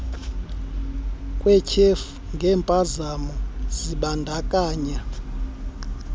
kwetyhefu ngempazamo zibandakanya